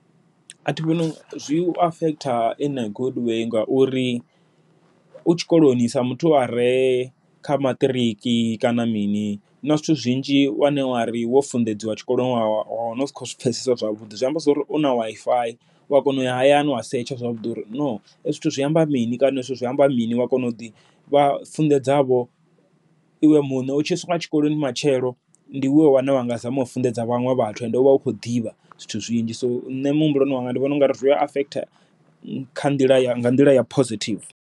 Athi vhoni zwi u affect in a good way ngauri, u tshikoloni sa muthu are kha maṱariki kana mini huna zwithu zwinzhi wane uri wo funḓedziwa tshikoloni wa wana u si khou zwi pfhesesa zwavhuḓi zwi amba zwori u na WiFi uya kona uya hayani wa setsha zwavhuḓi uri no hezwi zwithu zwi amba mini kana zwithu zwi amba mini. Wa kona u ḓivha wa funḓedzavho iwe muṋe u tshi swika tshikoloni matshelo, ndi iwe wane wanga zama u funḓedza vhaṅwe vhathu and uvha u khou ḓivha zwithu zwinzhi, so nṋe muhumbuloni wanga ndi vhona ungari zwi affect kha nḓila ya nga nḓila ya positive.